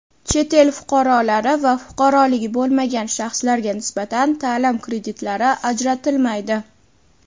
Chet el fuqarolari va fuqaroligi bo‘lmagan shaxslarga nisbatan taʼlim kreditlari ajratilmaydi.